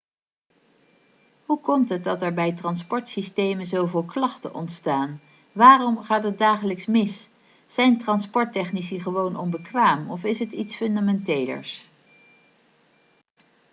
hoe komt het dat er bij transportsystemen zoveel klachten ontstaan waarom gaat het dagelijks mis zijn transporttechnici gewoon onbekwaam of is het iets fundamentelers